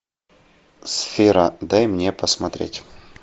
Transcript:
сфера дай мне посмотреть